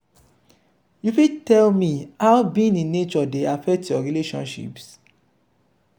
you fit tell me how being in nature dey affect your relationships?